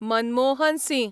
Manmohan Singh